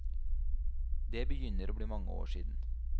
Det begynner å bli mange år siden.